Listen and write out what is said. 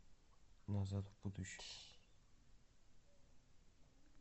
назад в будущее